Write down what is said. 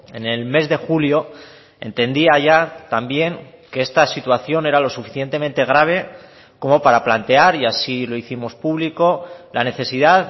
en el mes de julio entendía ya también que esta situación era lo suficientemente grave como para plantear y así lo hicimos público la necesidad